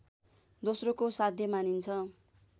दोस्रोको साध्य मानिन्छ